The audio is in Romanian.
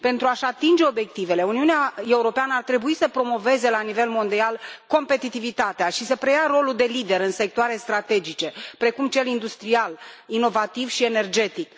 Pentru a și atinge obiectivele, Uniunea Europeană ar trebui să promoveze la nivel mondial competitivitatea și să preia rolul de lider în sectoare strategice precum cel industrial, inovativ și energetic.